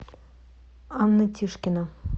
анна тишкина